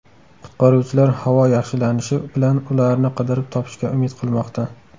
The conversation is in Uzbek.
Qutqaruvchilar havo yaxshilanishi bilan ularni qidirib topishga umid qilmoqda.